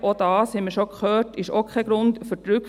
Auch das haben wir bereits gehört.